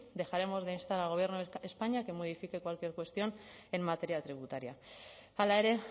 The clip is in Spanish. dejaremos de instar al gobierno de españa que modifique cualquier cuestión en materia tributaria hala ere